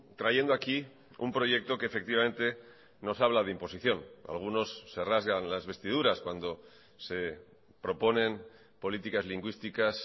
trayendo aquí un proyecto que efectivamente nos habla de imposición algunos se rasgan las vestiduras cuando se proponen políticas lingüísticas